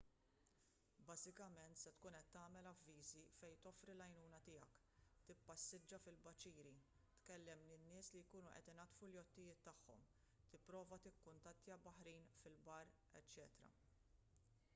bażikament se tkun qed tagħmel avviżi fejn toffri l-għajnuna tiegħek tippassiġġa fil-baċiri tkellem lil nies li jkunu qed inaddfu l-jottijiet tagħhom tipprova tikkuntattja baħrin fil-bar eċċ